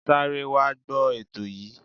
Sáré wá gbọ ètò yìí.